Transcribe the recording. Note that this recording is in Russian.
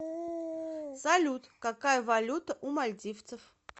салют какая валюта у мальдивцев